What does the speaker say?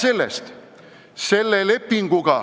–, et see ei ole siduv.